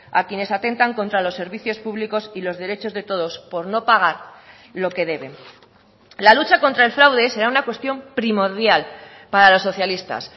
a quienes atentan contra los servicios públicos y los derechos de todos por no pagar lo que deben la lucha contra el fraude será una cuestión primordial para los socialistas